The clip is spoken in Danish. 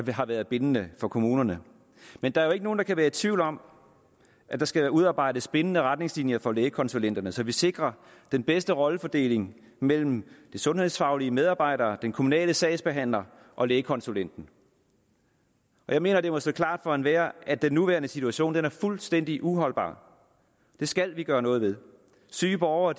har været bindende for kommunerne men der er jo ikke nogen der kan være i tvivl om at der skal udarbejdes bindende retningslinjer for lægekonsulenterne så vi sikrer den bedste rollefordeling mellem de sundhedsfaglige medarbejdere den kommunale sagsbehandler og lægekonsulenten jeg mener det må stå klart for enhver at den nuværende situation er fuldstændig uholdbar den skal vi gøre noget ved syge borgere